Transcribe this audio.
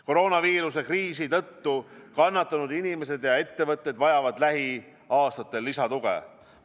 Koroonaviiruse kriisi tõttu kannatanud inimesed ja ettevõtted vajavad lähiaastatel lisatuge.